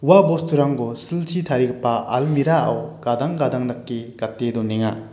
ua bosturangko silchi tarigipa almira o gadang gadang dake gate donenga.